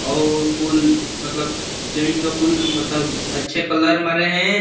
और कुल मतलब मतलब अच्छे कलर में रहे।